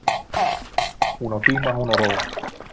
Hún á tíma hún á ró.